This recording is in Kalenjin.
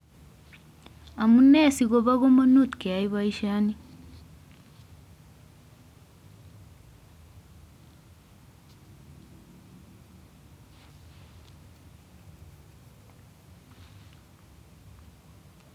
Amunee sikobo kamanut keyai boisyoni?